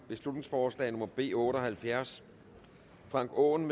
beslutningsforslag nummer b otte og halvfjerds frank aaen